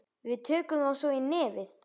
Tökum þá svo í nefið!